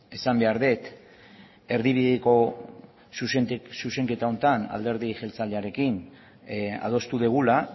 esan behar dut erdibideko zuzenketa honetan alderdi jeltzalearekin adostu dugula